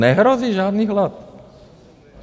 Nehrozí žádný hlad.